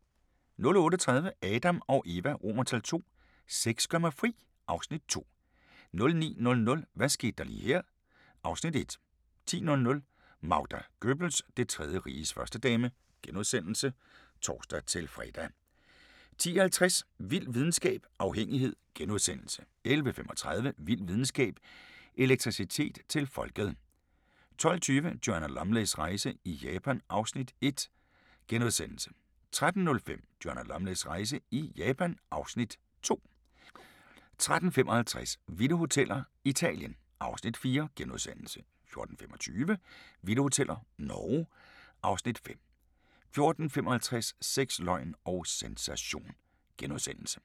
08:30: Adam & Eva II: Sex gør mig fri (Afs. 2) 09:00: Hvad skete der lige her? (Afs. 1) 10:00: Magda Goebbels – Det Tredje Riges førstedame *(tor-fre) 10:50: Vild videnskab: Afhængighed * 11:35: Vild videnskab: Elektricitet til folket 12:20: Joanna Lumleys rejse i Japan (Afs. 1)* 13:05: Joanna Lumleys rejse i Japan (Afs. 2) 13:55: Vilde Hoteller – Italien (Afs. 4)* 14:25: Vilde Hoteller – Norge (Afs. 5) 14:55: Sex, løgn og sensation *